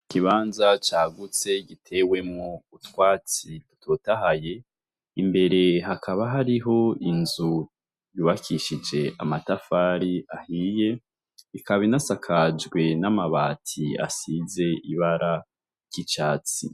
Ikibanza cagutse gitewemwo utwatsi dutotahaye, imbere hakaba hariho inzu yubakishije amatafari ahiye, ikaba inasakajwe n'amabati asize ibara ry'icatsi.